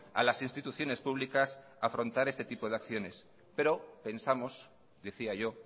a las instituciones públicas a afrontar este tipo de acciones pero pensamos decía yo